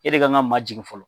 E de kan ka ma jigin fɔlɔ.